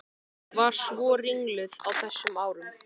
Var svo ringluð á þessum árum.